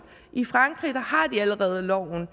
i frankrig har de allerede loven